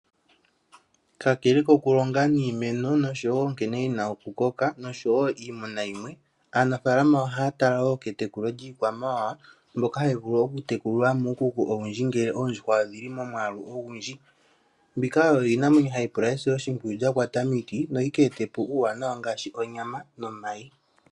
Kalele koku longa niimeno osho wo oku koka, osho iimuna yimwe, aanafaalama oha ya tala wo ketekulo lyiikwamawawa mbyoka ha yi vulu oku tekulilwa muukuku owundji, ngele oodjuhwa odhili momwaalu ogundji. Mbika oyo iinamwenyo ha yi pula esiloshimpwiyu lya kwata miiti yo yi ke etepo uwanawa owundji ngaashi onyama nomayi.